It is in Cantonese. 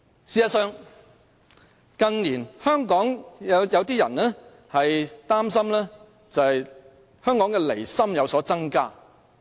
事實上，近年香港有一些人擔心港人的離心日益增加。